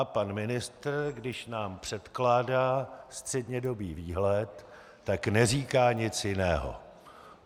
A pan ministr, když nám předkládá střednědobý výhled, tak neříká nic jiného.